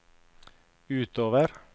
utover